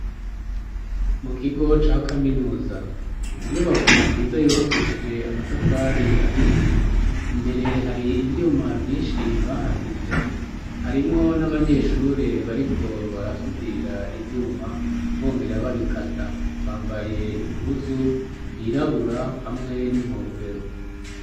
Mukigo ca kaminuza ,inyubako nziza yubakishije amatafari ahiye ,imbere hari ivyuma vyinshi bahasize harimwo n'abanyeshure bariko barasudira ivyuma, bongera babikata, bambaye impuzu yirabura hamwe n'inkofero.